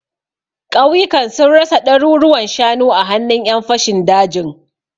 Ƙauyukan sun rasa ɗaruruwan shanu a hannun ƴan fashin dajin.